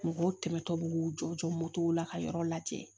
Mɔgɔw tɛmɛtɔ bi k'u jɔjɔ la ka yɔrɔ lajɛ